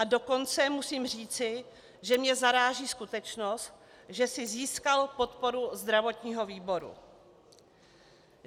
A dokonce musím říci, že mě zaráží skutečnost, že si získal podporu zdravotního výboru.